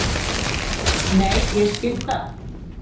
Nei, ég skil það.